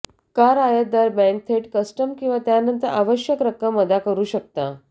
car आयातदार bank थेट custom किंवा त्यानंतर आवश्यक रक्कम अदा करू शकता